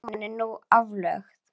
Náman er nú aflögð.